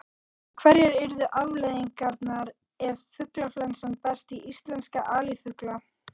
En hverjar yrðu afleiðingarnar ef fuglaflensa berst í íslenska alifugla?